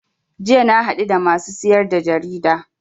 Jiya na haɗu da masu siyar da jarida